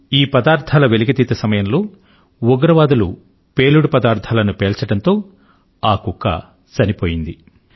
ఈ పదార్థాల వెలికితీత సమయంలో ఉగ్రవాదులు పేలుడు పదార్థాలను పేల్చడంతో ఆ కుక్క చనిపోయింది